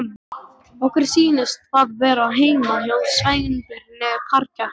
Okkur sýnist það vera heima hjá Sveinbirni parkett!